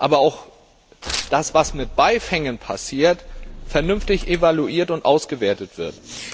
aber auch das, was mit Beifängen passiert vernünftig evaluiert und ausgewertet wird.